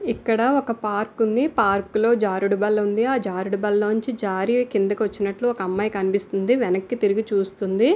ఇక్కడ ఒక పార్కు ఉంది. పార్కు లో జారుడు బల్ల ఉంది. ఆ జారుడు బల్ల నుంచి జారీ కిందకు వచ్చినట్లు ఒక అమ్మాయి కనిపిస్తుంది. వెనక్కి తిరిగి చూస్తుంది.